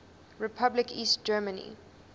republic east germany